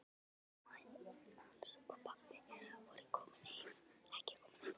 Mamma hans og pabbi voru ekki komin heim.